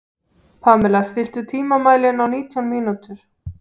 Pamela, stilltu tímamælinn á nítján mínútur.